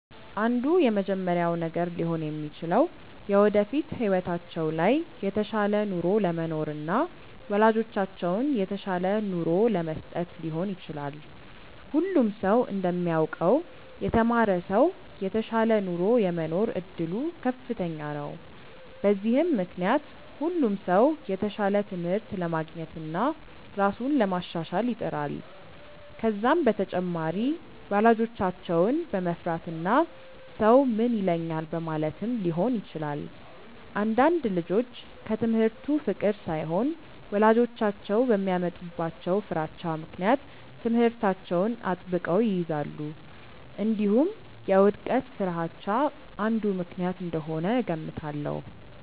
አንዱ የመጀመሪያው ነገር ሊሆን የሚችለው የወደፊት ህይወታቸው ላይ የተሻለ ኑሮ ለመኖርና ወላጆቻቸውን የተሻለ ኑሮ ለመስጠት ሊሆን ይችላል። ሁሉም ሰው እንደሚያውቀው የተማረ ሰው የተሻለ ኑሮ የመኖር እድሉ ከፍተኛ ነው። በዚህም ምክንያት ሁሉም ሰው የተሻለ ትምህርት ለማግኘትና ራሱን ለማሻሻል ይጥራል። ከዛም በተጨማሪ ወላጆቻቸውን በመፍራትና ሰው ምን ይለኛል በማለትም ሊሆን ይችላል። አንዳንድ ልጆች ከትምህርቱ ፍቅር ሳይሆን ወላጆቻቸው በሚያመጡባቸው ፍራቻ ምክንያት ትምህርታቸውን አጥብቀው ይይዛሉ። እንዲሁም የውድቀት ፍርሃቻ አንዱ ምክንያት እንደሆነ እገምታለሁ።